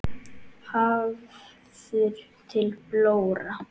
Hafður til blóra?